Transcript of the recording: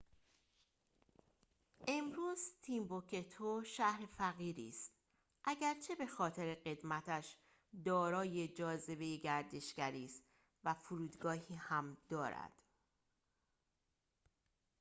امروز تیمبوکتو شهر فقیری است اگرچه بخاطر قدمتش دارای جاذبه گردشگری است و فرودگاهی هم دارد